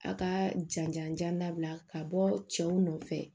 A ka janjan jan dabila ka bɔ cɛw nɔfɛ